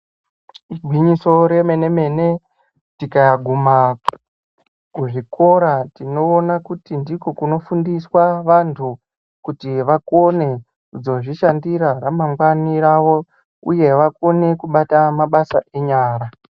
Igwinyiso re mene mene tika guma ku zvikora tinoona kuti ndiko kuno fundiswa vantu kuti vakone kudzo zvishandira ra mangwani ravo uye vakone kubata mabasa enyara.